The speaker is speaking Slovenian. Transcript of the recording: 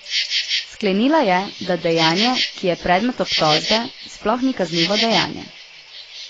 Sklenila je, da dejanje, ki je predmet obtožbe, sploh ni kaznivo dejanje.